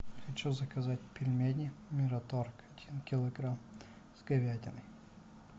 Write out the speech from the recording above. хочу заказать пельмени мираторг один килограмм с говядиной